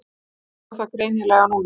Ég sá það greinilega núna.